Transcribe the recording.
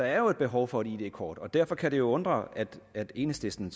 jo et behov for et id kort og derfor kan det undre at enhedslisten